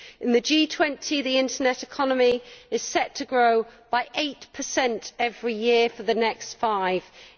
In the G20, the internet economy is set to grow by eight per cent every year for the next five years.